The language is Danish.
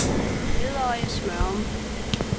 Ledøje-Smørum